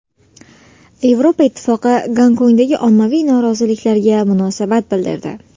Yevropa Ittifoqi Gonkongdagi ommaviy noroziliklarga munosabat bildirdi.